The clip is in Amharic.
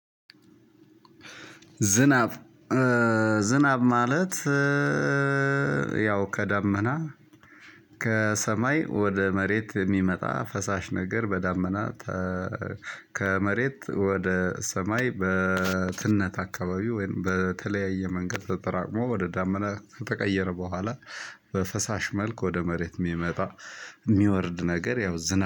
ዝናብ፣ ዝናብ ማለት ያው ከዳመና ከሰማይ ወደ መሬት የሚመጣ ፈሳሽ ነገር በዳመና ከመሬት ወደ ሰማይ በትነት አካባቢ ወይም በተለያየ መንገድ ተጠራቅሞ ወደ ዳመና ከተቀየረ በኋላ በፈሳሽ መልክ ወደ መሬት የሚመጣ የሚወርድ ነገር ያው ዝናብ